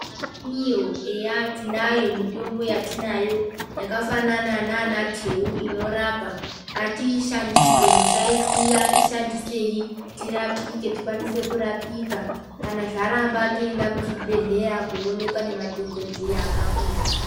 Kumakanyiyo eya tinayo mitombo yatinayo yakafanana nana teu inorapa ngatiishandise musaisiya ishandisei tirapike tikwanise kurapika kana zvaramba toenda muzvibhedhleya koonekwa nemadhokodheya akafundiswa.